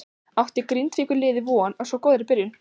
Átti Grindavíkur liðið von á svo góðri byrjun?